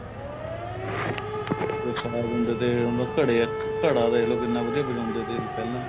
ਅੱਗੇ singer ਹੁੰਦੇ ਤੇ ਉਹਨਾ ਘੜੇ ਘੜਾ ਦੇਖਲੋ ਕਿੰਨਾ ਵਧੀਆ ਵਜਾਉਂਦੇ ਤੇ ਪਹਿਲਾਂ